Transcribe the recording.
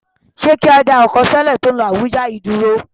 Ṣé kí á dá ọkọ sọ́lẹ̀ tó ń lọ Àbújá yìí dúró